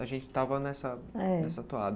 A gente estava nessa... É... nessa toada.